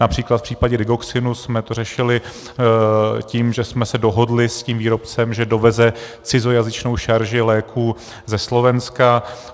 Například v případě Digoxinu jsme to řešili tím, že jsme se dohodli s tím výrobcem, že doveze cizojazyčnou šarži léků ze Slovenska.